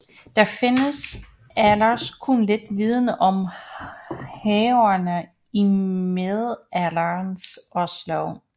Der findes ellers kun lidt viden om haverne i middelalderens Oslo